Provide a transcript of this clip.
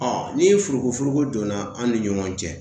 ni furuku furuku donna an ni ɲɔgɔn cɛ